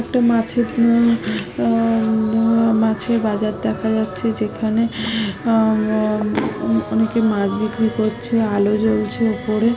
একটা মাছের উম অ মাছের বাজার দেখা যাচ্ছে যেখানে ম ম অনেকে মাছ বিক্রি করছে। আলো জ্বলছে উপরে--